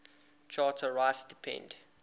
charter rights depend